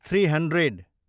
three hundred